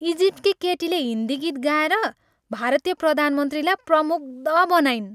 इजिप्टकी केटीले हिन्दी गीत गाएर भारतीय प्रधानमन्त्रीला प्रमुग्ध बनाइन्।